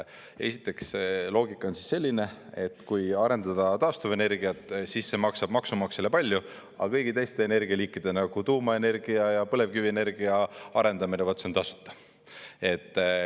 Esiteks, see loogika on selline, et kui arendada taastuvenergiat, siis see maksab maksumaksjale palju, aga kõigi teiste energialiikide, nagu tuumaenergia ja põlevkivi energia arendamine, vaat see on tasuta.